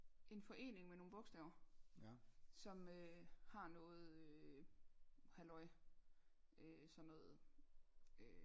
En forening med nogle bogstaver som øh har noget halløj øh sådan noget øh